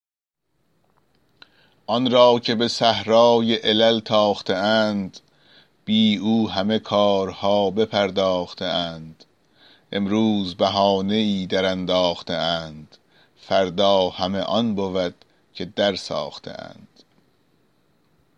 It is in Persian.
آن را که به صحرای علل تاخته اند بی او همه کارها بپرداخته اند امروز بهانه ای درانداخته اند فردا همه آن بود که درساخته اند